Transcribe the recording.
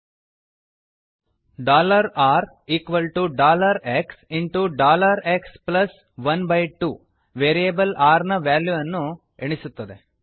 rxಎಕ್ಸ್12 dollar R equal to dollar X into dollar X plus one by two variable r ನ ವ್ಯಾಲ್ಯೂವನ್ನು ಎಣಿಸುತ್ತದೆ